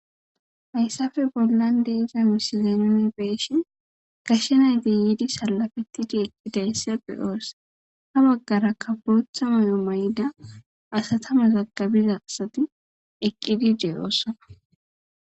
Hayisape bolan diza missiliya nuni beishe gashe nayiti yidi salafetidi eqidayisa be'os ha bagaraka botha may'ua mayida asata mazagabiza asati eqidi deosona.